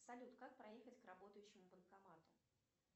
салют как проехать к работающему банкомату